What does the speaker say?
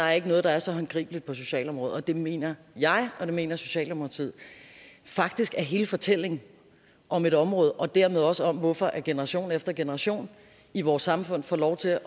er noget der er så håndgribeligt på socialområdet og det mener jeg og det mener socialdemokratiet faktisk er hele fortællingen om et område og dermed også om hvorfor generation efter generation i vores samfund får lov til